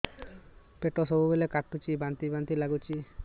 ପେଟ ସବୁବେଳେ କାଟୁଚି ବାନ୍ତି ବାନ୍ତି ବି ଲାଗୁଛି